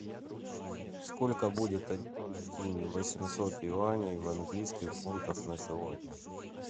сколько будет один восемьсот юаней в английских фунтах на сегодня